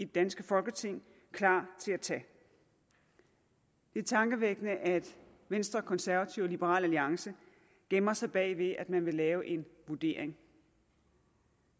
danske folketing klar til at tage det er tankevækkende at venstre konservative og liberal alliance gemmer sig bag at man vil lave en vurdering